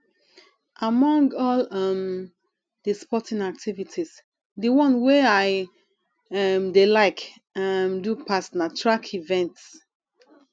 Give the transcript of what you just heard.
among all um the sporting activities the one wey i um dey like um do pass na track events